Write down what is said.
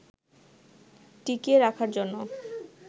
টিকিয়ে রাখার জন্য